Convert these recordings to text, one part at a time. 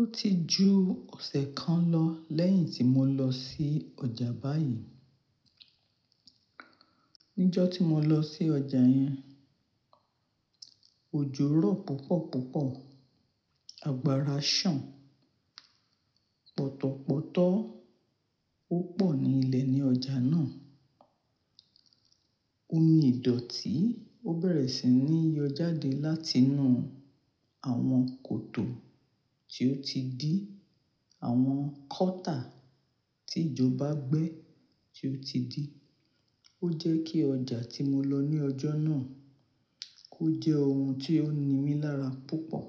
Ó ti ju ọ̀sẹ̀ kan lọ lẹ́yìn tí mo lọ sí ọjà báyìí. Nijọ́ tí mo lọ sí ọjà yẹn, òjò rọ̀ púpọ̀ púpọ̀, àgbára sàn, pọ̀tọ̀pọ̀tọ́ ó pọ̀ ní ilẹ̀ ní ọjà náà. Omi ìdọ̀tí ó bẹ̀rẹ̀ sí ní yọ jáde láti inú àwọn kòtò tí ó ti dí, àwọn kọ́tà tí ìjọba gbẹ́ tí ó ti dí. Ó jẹ́ kí ọjà tí mo lọ ní ọjọ́ náà kó jẹ́ ohun tí ó ni mí lára púpọ̀.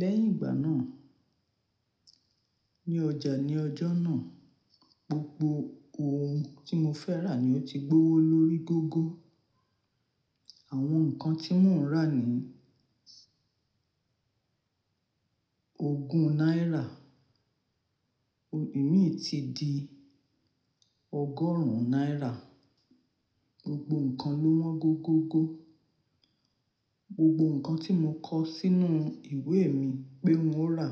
Lẹ́yìn ìgbà náà, ní ọjà ní ọjọ́ náà, gbogbo ohun tí mo fẹ́ rà ni ó ti gbówó lórí gọ́gọ́. Àwọn nǹkan tí mò ń rà ni ogún náírà, Imi ti di ọgọ́rùn-ún náírà. Gbogbo nǹkan ló wọ́n go gógo. Gbogbo nǹkan tí mo kọ sínú ìwé mi pé n ó rà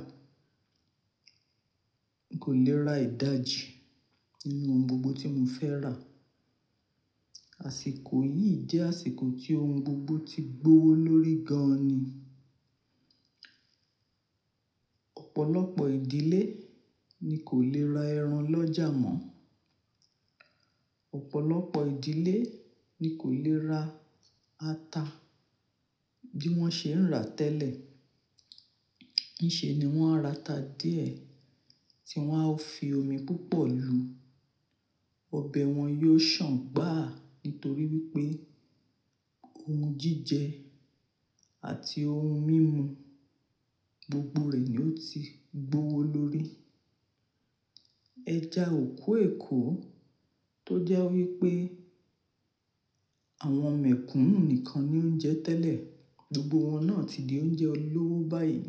kò lè ra ìdajì ninú ohun gbogbo tí mo fẹ́ rà. Àṣìkò yìí jẹ́ àsìkò tí ohun gbogbo ti gbówó lórí gan-an ni. Ọ̀pọ̀lọpọ̀ ìdílé ni kò lè ra ẹran lọ́jà mọ́. Ọ̀pọ̀lọpọ̀ ìdílé ni kò lè ra ata bí wọ́n ṣe ń rà tẹ́lẹ̀. Níṣe ni wọ́n á ra ata díẹ̀, tí wọ́n á fi omi púpọ̀ lu. Ọbẹ̀ wọn yóò sàn gbàá nítorí wípé ohun jíjẹ àti ohun mímu, gbogbo rẹ̀ ni ó ti gbówó lórí. Okú Èkó tó jẹ́ wípé àwọn mekúnú nìkan ni ó ń jẹ tẹ́lẹ̀, gbogbo wọn náà ti di oúnjẹ olówó báyìí.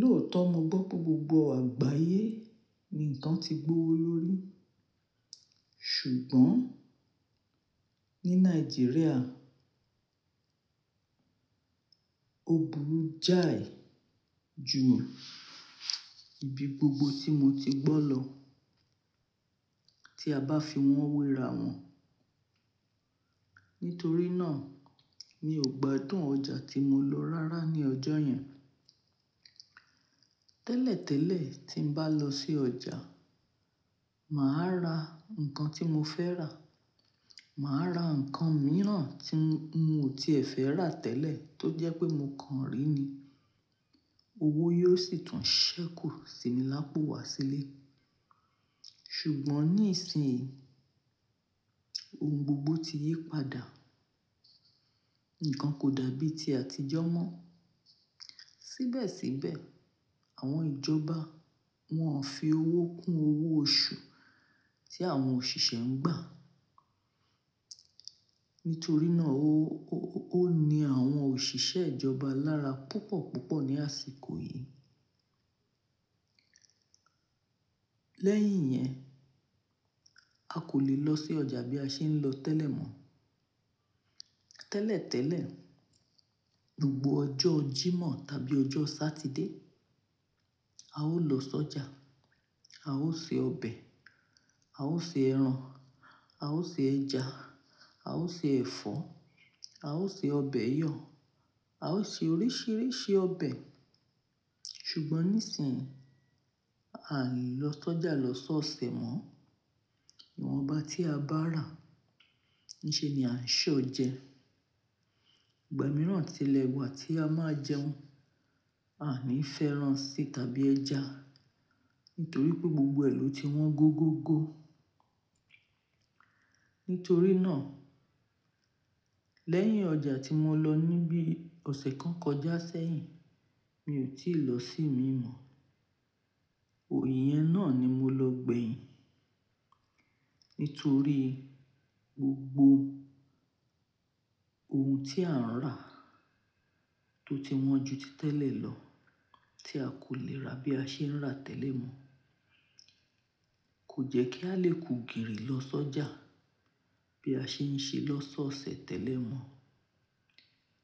Lóòótọ́ mo gbọ́ pé gbogbo àgbáyé ni nǹkan ti gbówó lórí, ṣùgbọ́n, ní Nàìjíríà ó burú jáì ju ibi gbogbo tí mo ti gbọ́ lọ, tí a bá fi wọ́n wéra wọn. Nítorí náà mi ò gbádùn ọjà tí mo lọ rárá ní ọjọ́ yẹn. Tẹ́lẹ̀ tẹ́lẹ̀, tí n bá lọ sí ọjà, màá ra nǹkan tí mo fẹ́ rà, màá ra nǹkan mìíràn tí mo ti fẹ́ rà tẹ́lẹ̀ tó jẹ́ pé mo kàn rí ni. Owó yóò sì tún ṣẹ́kù sí mi lápò wá sílé. Ṣùgbọ́n, ní ìsìn yìí ohun gbogbo ti yí padà. Nǹkan kò dàbí ti àtijọ́ mọ́. Síbẹ̀síbẹ̀, àwọn ìjọba wọ́n ń fi owó kún owó oṣù tí àwọn òṣìṣẹ́ ń gbà. Nítorí náà ó ni àwọn òṣìṣẹ́ ìjọba lára púpọ̀ púpọ̀ ní àsìkò yìí. Lẹ́yìn yẹn, a kò lè lọ sí ọjà bí a ṣe ń lọ tẹ́lẹ̀ mọ́. Tẹ́lẹ̀ tẹ́lẹ̀, gbogbo ọjọ́ Jímọ̀ tàbí ọjọ́ Sátidé a ó lọ sọ́jà, a ó ṣe ọbẹ̀, a ó ṣe ẹran, a ó ṣe ẹja, a ó ṣe ẹ̀fọ́, a ó ṣe ọbẹ̀ yọ̀, a ó ṣe oríṣìíríṣìí ọbẹ̀. Ṣùgbọ́n níìsín à ń lọ sọ́jà lọ́sọ̀ọ̀sẹ̀ mọ́. Ìwọ̀nba tí a bá rà níṣe ni à ń ṣọ̀ jẹ. Ìgbà mìíràn tilẹ̀ wà tí a máa jẹun, a ní fi ẹ́ran sí tàbí ẹja, nítorí pé gbogbo ẹ̀ ló ti wọ́n go gógo. Nítorí náà, lẹ́yìn ọjà tí mo lọ níbí ọ̀sẹ̀ kan kọjá sẹ́yìn, mi ò tí ì lọ sí ì mi mọ́. Òyẹ́n náà ni mo lọ gbẹ̀yìn nítorí gbogbo ohun tí à ń rà tó ti wọ́n ju ti tẹ́lẹ̀ lọ tí a kò lè rà bí a ṣe ń rà tẹ́lẹ̀ mọ́. Kò jẹ́ kí a lè ku gìrì lọ sọ́jà bí a ṣe ń ṣe lọ́sọ̀ọ̀sẹ̀ tẹ́lẹ̀ mọ́.